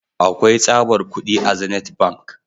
Akwai tsabar kudi a zenith ATM.